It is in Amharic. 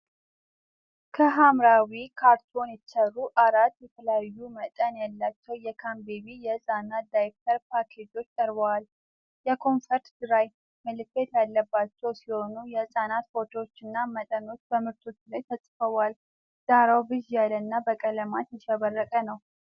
ከሐምራዊ ካርቶን የተሰሩ አራት የተለያዩ መጠን ያላቸው የ**ካንቤቤ** የህፃናት ዳይፐር ፓኬጆች ቀርበዋል። የ"Comfort Dry" ምልክት ያለባቸው ሲሆን፣ የሕፃናት ፎቶዎችና መጠኖች በምርቶቹ ላይ ተጽፈዋል። ዳራው ብዥ ያለና በቀለማት ያሸበረቀ ነው።